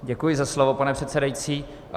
Děkuji za slovo, pane předsedající.